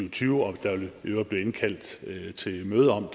og tyve og der vil i øvrigt blive indkaldt til et møde om